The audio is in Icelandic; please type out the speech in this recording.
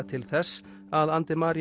til þess að